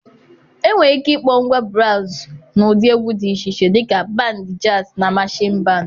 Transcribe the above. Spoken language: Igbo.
Enwere ike ịkpọ ngwa braazụ n'ụdị egwu dị iche iche dịka: band jazz na marching band.